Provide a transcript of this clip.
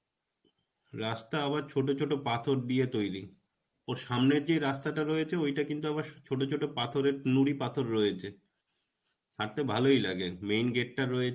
রাস্তা, আবার ছোটো ছোটো পাথর দিয়ে তৈরী. ওর সামনে যে রাস্তাটা রয়েছে ঐটা কিন্তু ছোটো ছোটো পাথরের নুড়ি পাথর রয়েছে. হাঁটতে ভালই লাগে main gate টা রয়েছে